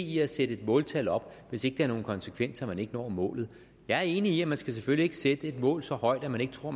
i at sætte måltal op hvis det ikke har nogen konsekvenser at man ikke når målet jeg er enig i at man selvfølgelig sætte et mål så højt at man ikke tror